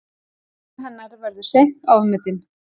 Áhrif hennar verða seint ofmetin.